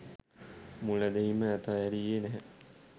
මුල් ඇදහීම අතහැරියේ නැහැ.